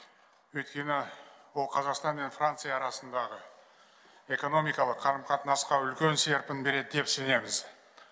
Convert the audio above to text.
өйткені ол қазақстан мен франция арасындағы экономикалық қарым қатынасқа үлкен серпін береді деп сенеміз